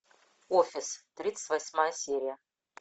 офис тридцать восьмая серия